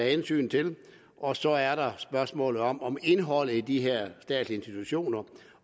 hensyn til og så er der spørgsmålet om om indholdet i de her statslige institutioner